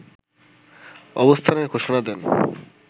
অবস্থানের ঘোষণা দেন